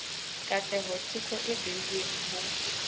katleho teko e beuweng ho